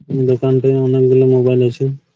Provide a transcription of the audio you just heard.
দোকানটির মধ্যে অনেকগুলো মোবাইল আছে।